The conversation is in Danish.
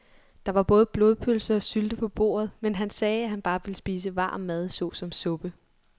Der var både blodpølse og sylte på bordet, men han sagde, at han bare ville spise varm mad såsom suppe.